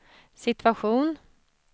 situation